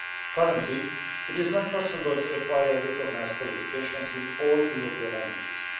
Currently it is not possible to acquire recognised qualifications in all European languages.